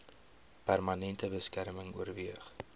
permanente beskerming oorweeg